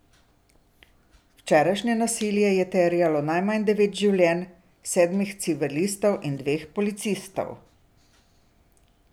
Včerajšnje nasilje je terjalo najmanj devet življenj, sedmih civilistov in dveh policistov.